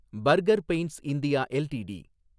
burger Paints India LTD